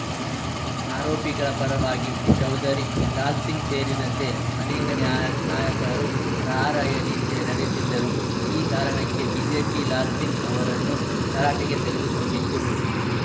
ಆರೋಪಿಗಳ ಪರವಾಗಿ ಚೌಧರಿ ಲಾಲ್‌ ಸಿಂಗ್‌ ಸೇರಿದಂತೆ ಅನೇಕ ನ್ಯಾ ನಾಯಕರು ರಾರ‍ಯಲಿ ನಡೆಸಿದ್ದರು ಈ ಕಾರಣಕ್ಕೆ ಬಿಜೆಪಿ ಲಾಲ್‌ ಸಿಂಗ್‌ ಅವರನ್ನು ತರಾಟೆಗೆ ತೆಗೆದುಕೊಂಡಿತ್ತು